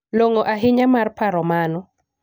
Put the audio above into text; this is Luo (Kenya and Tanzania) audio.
Long'o ahinya mar paro mano.